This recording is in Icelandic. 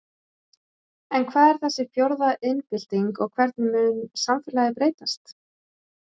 En hvað er þessi fjórða iðnbylting og hvernig mun samfélagið breytast?